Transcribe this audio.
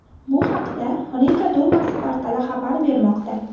Bu haqda Riga dumasi portali xabar bermoqda .